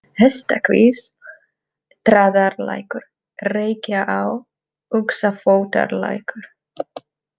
Hestakvísl, Traðarlækur, Reykjaá, Uxafótarlækur